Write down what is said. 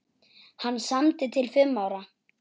Hann samdi til fimm ára.